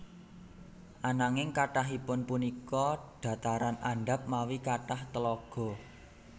Ananging kathahipun punika dhataran andhap mawi kathah tlaga